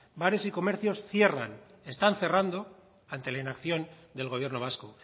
bares y comercios cierran están cerrando ante la inacción del gobierno vasco